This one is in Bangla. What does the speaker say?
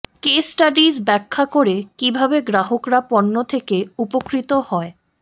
কেস স্টাডিজ ব্যাখ্যা করে কিভাবে গ্রাহকরা পণ্য থেকে উপকৃত হয়